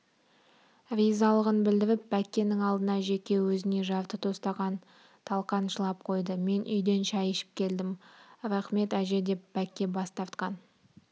ризалығын білдіріп бәккенің алдына жеке өзіне жарты тостаған талқан шылап қойды мен үйден шай ішіп келдім рақмет әже деп бәкке бас тартқан